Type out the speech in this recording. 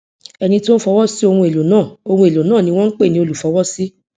ẹni tí ó ń fọwọ sí ohun èlò náà ohun èlò náà ni wón ń pè ní olúfọwọsí